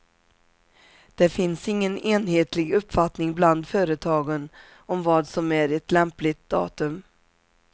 Det finns ingen enhetlig uppfattning bland företagen om vad som är ett lämpligt datum.